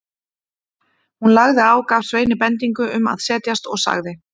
Hún lagði á, gaf Sveini bendingu um að setjast og sagði